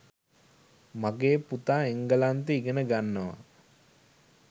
මගේ පුතා එංගලන්තේ ඉගෙන ගන්නවා.